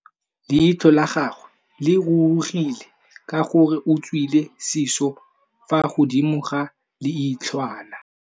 Leitlhô la gagwe le rurugile ka gore o tswile sisô fa godimo ga leitlhwana.